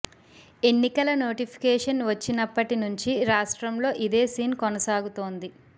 ఎన్నికల నోటిఫికేషన్ వచ్చినప్పటి నుంచి రాష్ట్రంలో ఇదే సీన్ కొనసాగుతోంది